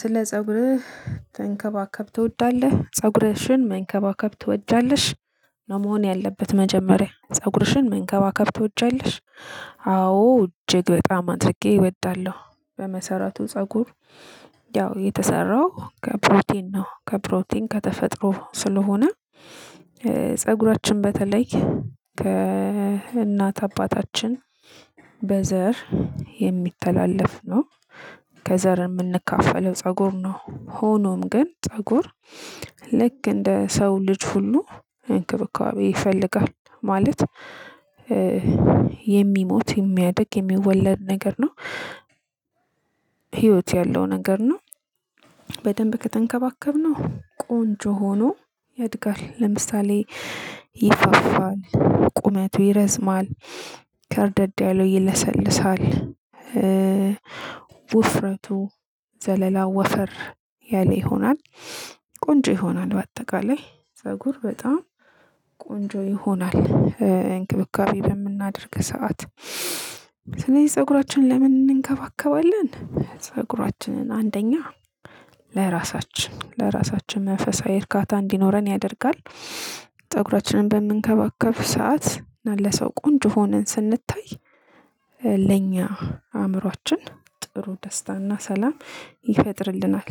ስለ ጸጉርህ ተንከባከብ ትወዳለህ ፀጉርሽን መንከባከብ ትወጃለሽ ነው መሆን ያለበት መጀመሪያ ፀጉርሽን መንከባከብ ትወጃለሽ? አዎ አዎ እጅግ በጣም አድርጌ እወዳለሁ። በመሰረቱ ፀጉር ያው የተሰራው ከፕሮቲን ነው ከፕሮቲን ከተፈጥሮ ስለሆነ። ፀጉራችን በተለይ ከእናት አባታችን በዘር የሚተላለፍ ነው። ከዘር ምንካፈለው ነው ፀጉር ነው። ሆኖም ግን ፀጉር ልክ እንደ ሰው ልጅ ሁሉ እንክብካቤ ይፈልጋል ማለት የሚሞት የሚያድግ የሚወለድ ነገር ነው። ህይወት ያለው ነገር ነው። በደንብ ከተንከባከብነው ቆንጆ ሆኖ ያድጋል። ለምሳሌ ይፋፋል ቁመቱ ይረዝማል ከርደድ ያለው ይለሰልሳል። ውፍረቱ ዘለላው ወፈር ያለ ይሆናል። ቆንጆ ይሆናል በአጠቃላይ ፀጉር በጣም ቆንጆ ይሆናል። እንክብካቤ በምናደርግ ሰዓት ስለዚህ ፀጉራችን ለምን እንከባከባለን? ፀጉራችንን አንደኛ ለራሳችን ለራሳችን መንፈሳዊ እርካታ እንዲኖረን ያደርጋል። ፀጉራችንን በምንከባከብ ሰዓት ለሰው ቆንጆ ሆነን ስንታይ ለኛ አእምሮአችን ጥሩ ደስታና ሰላም ይፈጥርልናል።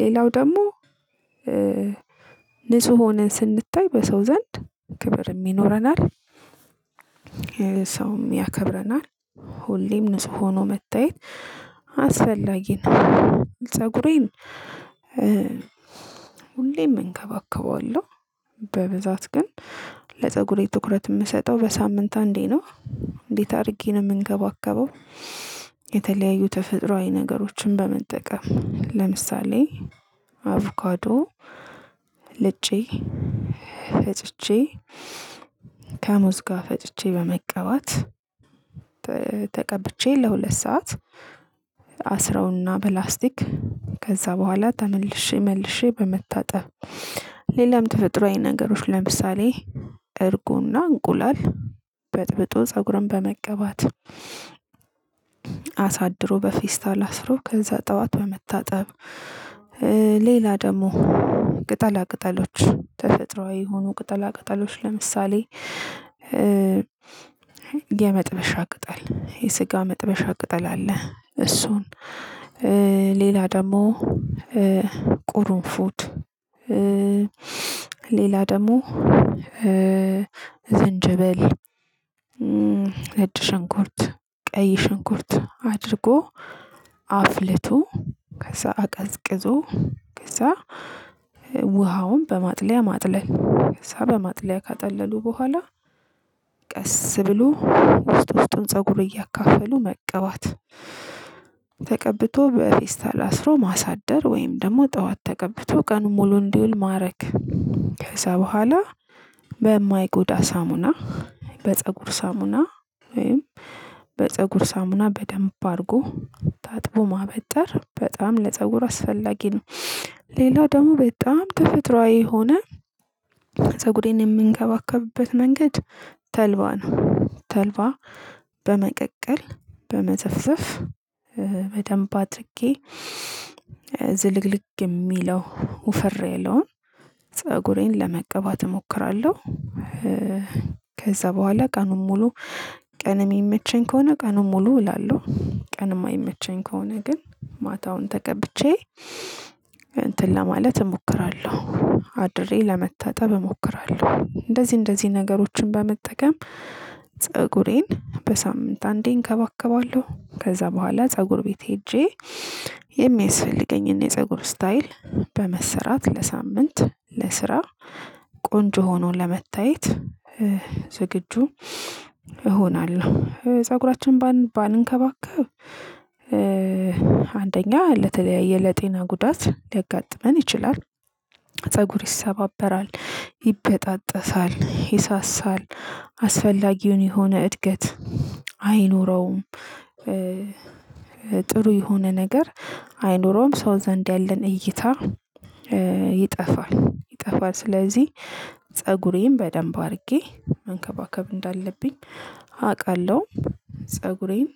ሌላው ደግሞ ንጹህ ሆነን ስንታይ በሰው ዘንድ ክብርም ይኖረናል። ሰውም ያከብረናል። ሁሌም ንጹህ ሆኖ መታየት አስፈላጊ ነው። ፀጉሬን ሁሌም እንከባከበዋለሁ። በብዛት ግን ለፀጉሬ ትኩረት የምሰጠው በሳምንት አንዴ ነው። እንዴት አድርጌ ነው ምንከባከበው? የተለያዩ ተፈጥሮአዊ ነገሮችን በመጠቀም ለምሳሌ አቮካዶ ልጬ ፈጭቼ ከሙዝ ጋር ፈጭቼ በመቀባት ተቀብቼ ለሁለት ሰዓት አስረውና በላስቲክ ከዛ በኋላ ተመልሼ መልሼ በመታጠብ። ሌላም ተፈጥሮአዊ ነገሮች ለምሳሌ እርጎና እንቁላል በጥብጦ ፀጉርን በመቀባት አሳድሮ በፌስታል አስሮ ከዛ ጠዋት በመታጠብ። ሌላ ደግሞ ቅጠላ ቅጠሎች ተፈጥሮአዊ የሆኑ ቅጠላ ቅጠሎች ለምሳሌ የመጥበሻ ቅጠል የስጋ መጥበሻ ቅጠል አለ። እሱን ሌላ ደግሞ ቁሩንፉድ ሌላ ደግሞ ዝንጅብል ነጭ ሽንኩርት ቀይ ሸንኩርት አድርጎ አፍልቶ ከዛ አቀዝቅዞ ከዛ ውሃውን በማጥለያ ማጥለል ከዛ በማጥለያ ካጣለሉ በኋላ ቀስ ብሎ ውስጥ ውስጡን ፀጉር እያካፈሉ መቀባት። ተቀብቶ በፌስታል አስሮ ማሳደር ወይም ደግሞ ጠዋት ተቀብቶ ቀኑን ሙሉ እንዲውል ማድረግ። ከዛ በኋላ በማይጎዳ ሳሙና በፀጉር ሳሙና ወይም በፀጉር ሳሙና በደንብ አድርጎ ታጥቦ ማበጠር በጣም ለፀጉር አስፈላጊ ነው። ሌላው ደግሞ በጣም ተፈጥሮአዊ የሆነ ፀጉሬን የምንከባከብበት መንገድ ተልባ ነው። ተልባ በመቀቀል በመዘፍዘፍ በደንብ አድርጌ ዝልግልግ የሚለው ወፈር ያለውን ፀጉሬን ለመቀባት እሞክራለሁ። ከዛ በኋላ ቀኑን ሙሉ ቀን የሚመቸኝ ከሆነ ቀኑን ሙሉ እውላለው ቀን የማይመቸኝ ከሆነ ግን ማታውን ተቀብቼ እንትን ለማለት እሞክራለሁ አድሬ ለመታጠብ እሞክራለሁ እንደዚህ እንደዚህ ነገሮችን በመጠቀም ፀጉሬን በሳምንት አንዴ እንከባከባለሁ። ከዛ በኋላ ፀጉር ቤት ሄጄ የሚያስፈልገኝን የፀጉር ስታይል በመሰራት ለሳምንት ለስራ ቆንጆ ሆኖ ለመታየት ዝግጁ እሆናለሁ። ፀጉራችንን ባን ባንከባከብ አንደኛ ለተለያየ ለጤና ጉዳት ሊያጋጥመን ይችላል። ፀጉር ይሰባበራል ይበጣጠሳል ይሳሳል አስፈላጊውን የሆነ እድገት አይኖረውም። ጥሩ የሆነ ነገር አይኖረውም ሰው ዘንድ ያለን እይታ ይጠፋል ይጠፋል። ስለዚህ ፀጉሬን በደንብ አድርጌ መንከባከብ እንዳለብኝ አቃለው። ፀጉሬን።